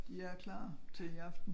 De er klar til i aften